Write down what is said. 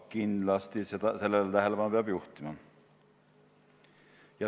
Kindlasti peab sellele tähelepanu juhtima.